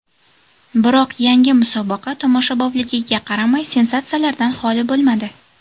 Biroq yangi musobaqa tomoshabobligiga qaramay, sensatsiyalardan xoli bo‘ladi.